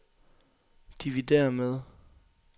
dividér med